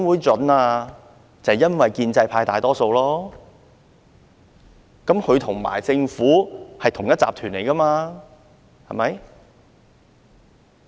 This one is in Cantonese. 就是因為建制派議員佔大多數，他們與政府可是同一夥的呢，對嗎？